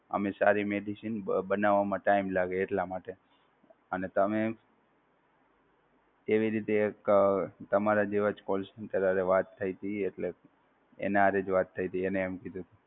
અમે સારી medicine બનાવવામાં time લાગે એટલા માટે અને તમે કેવી રીતે એક તમારા જેવા call center સાથે વાત થઈ હતી એટલે એને આ રીતે વાત થઈ હતી એને એમ કીધું હતું.